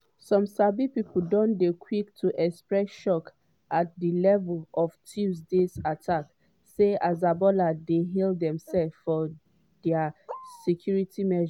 some sabi pipo don dey quick to express shock at di level of tuesday's attack - say hezbollah dey hail demsefs for dia security measures.